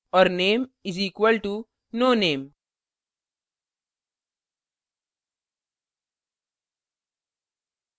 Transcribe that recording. और name is equal to no name